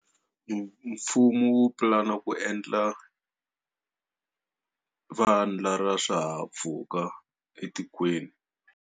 Mfumo wu pulana ku endla vandla ra swihahampfhuka etikweni.